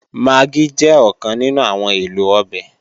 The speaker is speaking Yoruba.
Magí jẹ́ ọ̀kan nínú àwọn èlò ọbẹ̀